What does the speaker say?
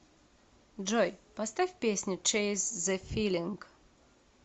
джой поставь песню чейз зе филинг